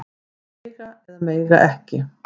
Að mega eða mega ekki